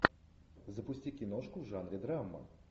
запусти киношку в жанре драма